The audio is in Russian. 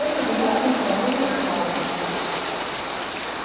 это вариант литературной славы